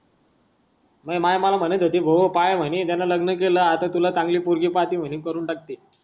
मई माय मले म्हणत होती भाऊ पाय म्हणे त्यान लग्न केल आता तुला चांगली पोरगी पाहती म्हणे करून टाकते.